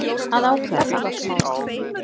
Að ákveða það.